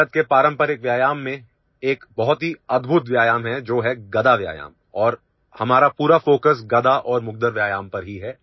भारत के पारंपरिक व्यायाम में एक बहुत ही अद्भुत व्यायाम है जो है गदा व्यायाम और हमारा पूरा फोकस गदा और मुग्दर व्यायाम पर ही है